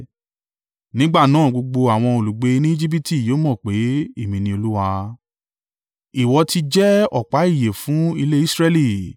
Nígbà náà gbogbo àwọn olùgbé ni Ejibiti yóò mọ pé, Èmi ni Olúwa. “ ‘Ìwọ ti jẹ́ ọ̀pá ìyè fún ilé Israẹli.